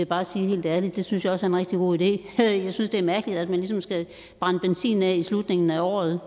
bare sige helt ærligt at det synes jeg også er en rigtig god idé jeg synes det er mærkeligt at man ligesom skal brænde benzinen af i slutningen af året